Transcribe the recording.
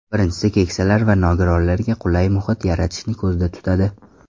Birinchisi keksalar va nogironlarga qulay muhit yaratishni ko‘zda tutadi.